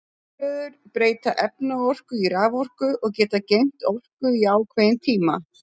Rafhlöður breyta efnaorku í raforku og geta geymt orku í ákveðin tíma.